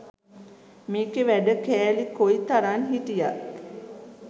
මේකෙ වැඩ කෑලි කොයිතරං හිටියත්